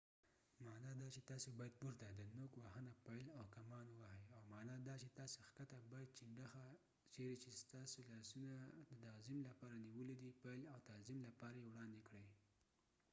د up پورته معنی دا چې تاسې باید نوک وهنه پيل او کمان ووهئ او down ښکته معنی دا چې تاسې باید چنډخه چیرې چې ستاسې لاسونه د تعظیم لپاره نیولي دي پیل او تعظیم لپاره یې وړاندې کړئ